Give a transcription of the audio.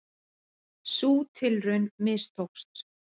Sú tilraun mistókst